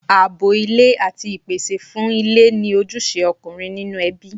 Ààbò ilé àti ìpèsè fún ilé ni ojúṣe ọkùnrin nínú ẹbí.